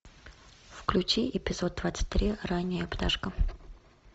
включи эпизод двадцать три ранняя пташка